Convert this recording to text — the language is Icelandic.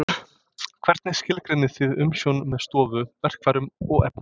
Hvernig skilgreinið þið umsjón með stofu, verkfærum og efni?